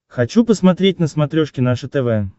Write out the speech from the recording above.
хочу посмотреть на смотрешке наше тв